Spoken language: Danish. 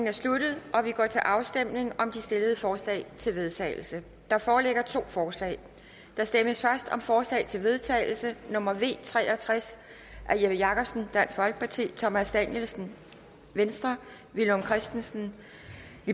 er sluttet og vi går til afstemning om de stillede forslag til vedtagelse der foreligger to forslag der stemmes først om forslag til vedtagelse nummer v tre og tres af jeppe jakobsen thomas danielsen villum christensen